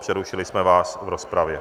Přerušili jsme vás v rozpravě.